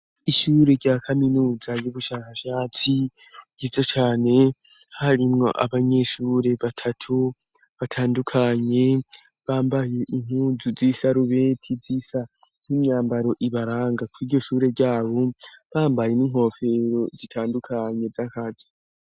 Ishure rya kaminuzay'ubushakashatsi gizo cane harimwo abanyeshure batatu batandukanye bambaye inkuzu z'isarubeti z'isa nk'imyambaro ibaranga ku iryo shure ryabo bambaye n'inkofero zitandukanye z'akazi.